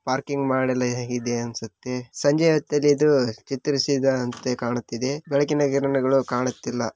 Parking ಮಾಡಲು ಹೇಗೆ ಇದೆ ಅನಿಸುತ್ತೆ ಸಂಜೆ ಹೊತ್ತಲ್ಲಿ ಇದು ಅಹ್ ಚಿತ್ರಿಸಿದಂತೆ ಕಾಣುತ್ತಿದೆ ಬೆಳಕಿನ ಕಿರಣಗಳು ಕಾಣುತ್ತಿಲ್ಲ.